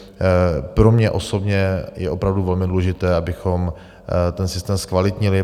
Pro mě osobně je opravdu velmi důležité, abychom ten systém zkvalitnili.